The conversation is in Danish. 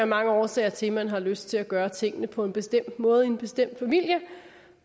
mange årsager til at man har lyst til at gøre tingene på en bestemt måde i en bestemt familie